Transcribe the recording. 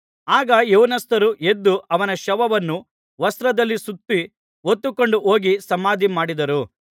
ಆಗ ಯೌವನಸ್ಥರು ಎದ್ದು ಅವನ ಶವವನ್ನು ವಸ್ತ್ರದಲ್ಲಿ ಸುತ್ತಿ ಹೊತ್ತುಕೊಂಡು ಹೋಗಿ ಸಮಾಧಿಮಾಡಿದರು